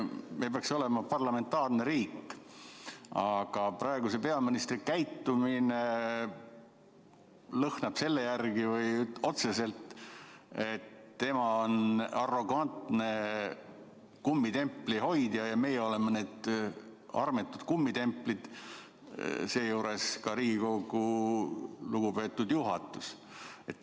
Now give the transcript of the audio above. Me peaks olema parlamentaarne riik, aga praeguse peaministri käitumine lõhnab otseselt selle järele, et tema on arrogantne kummitempli hoidja ja meie oleme need armetud kummitemplid, seejuures ka Riigikogu lugupeetud juhatus.